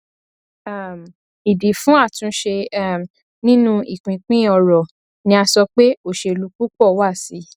um ìdí fún àtúnṣe um nínú ìpínpín ọrọ ni a sọ pé òṣèlú púpọ wà sí i